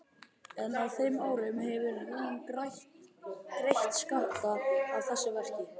En á þeim árum hefur hún greitt skatta af þessu verki.